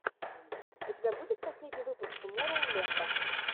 у тебя будет последний выпуск тумороу ленда